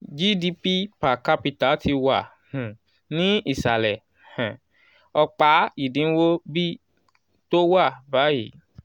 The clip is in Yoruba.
gdp per capita ti wà um ní ìsàlẹ̀ um ọ̀pá ìdiwọ̀n "b" tó wà báyìí. um